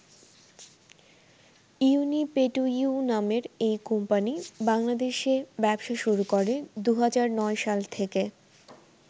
ইউনিপেটুইউ নামের এই কোম্পানী বাংলাদেশে ব্যবসা শুরু করে ২০০৯ সাল থেকে।